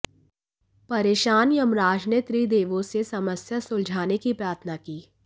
परेशान यमराज ने त्रिदेवों से समस्या सुलझाने की प्रार्थना की